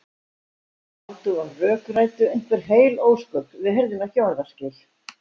Þeir sátu og rökræddu einhver heil ósköp, við heyrðum ekki orðaskil.